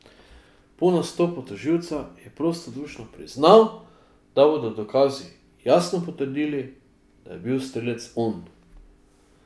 Po nastopu tožilca je prostodušno priznal, da bodo dokazi jasno potrdili, da je bil strelec on.